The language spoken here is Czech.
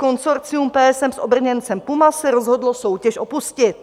Konsorcium PSM s obrněncem PUMA se rozhodlo soutěž opustit.